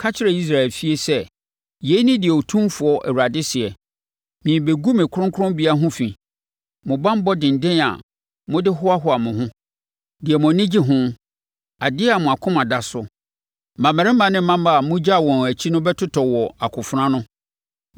Ka kyerɛ Israel efie sɛ: ‘Yei ne deɛ Otumfoɔ Awurade seɛ: Merebɛgu me kronkronbea ho fi; mo banbɔ denden a mode hoahoa mo ho, deɛ mo ani gye ho, adeɛ a mo akoma da so. Mmammarima ne mmammaa a mogyaa wɔn akyi no bɛtotɔ wɔ akofena ano.